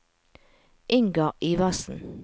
Ingar Iversen